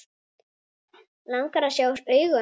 Langar að sjá augu hans.